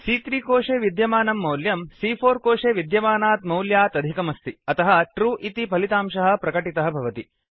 सी॰॰3 कोशे विद्यमानं मौल्यं सी॰॰4 कोशे विद्यमानात् मौल्यात् अधिकमस्ति अतः ट्रू इति फलितांशः प्रकटितः भवति